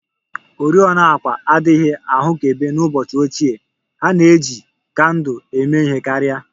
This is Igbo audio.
Oriọna àkwà adịghị ahụkebe n'ụbọchị ochie, ha na-eji kandụl eme ihe karị